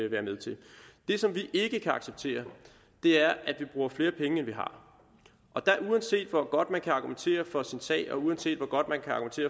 være med til det som vi ikke kan acceptere er at vi bruger flere penge end vi har uanset hvor godt man kan argumentere for sin sag og uanset hvor godt man kan